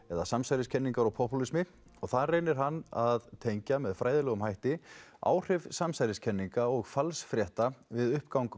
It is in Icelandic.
eða samsæriskenningar og popúlismi þar reynir hann að tengja með fræðilegum hætti áhrif samsæriskenninga og falsfrétta við uppgang